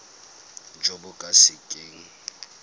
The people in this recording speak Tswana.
jo bo ka se keng